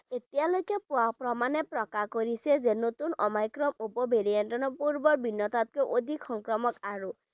এতিয়ালৈকে পোৱা প্ৰমাণে প্ৰকাশ কৰিছে যে নতুন Omicron উপ variant ৰ পূৰ্ব ভিন্নতাতকৈ অধিক সংক্ৰামক আৰু